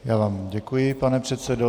Já vám děkuji, pane předsedo.